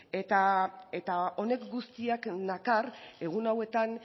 eta honek guztiak nakar egun hauetan